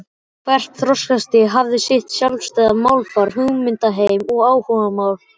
Hvert þroskastig hafði sitt sjálfstæða málfar, hugmyndaheim og áhugamál.